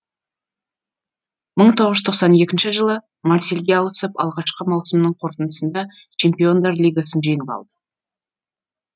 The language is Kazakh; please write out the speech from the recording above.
мың тоғыз жүз тоқсан екінші жылы марсельге ауысып алғашқы маусымының қорытындысында чемпиондар лигасын жеңіп алды